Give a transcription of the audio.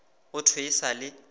go thwe e sa le